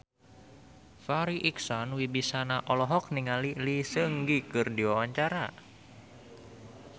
Farri Icksan Wibisana olohok ningali Lee Seung Gi keur diwawancara